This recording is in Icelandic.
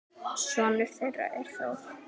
Sonur þeirra er Þór.